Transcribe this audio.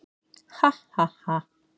Ha, ha, ha.